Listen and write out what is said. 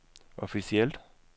officielt